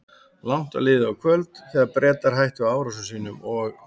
Langt var liðið á kvöld, þegar Bretar hættu árásum sínum og